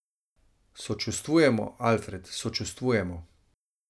Sočustvujemo, Alfred, sočustvujemo.